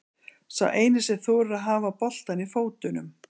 Sá eini sem þorir að hafa boltann í fótunum.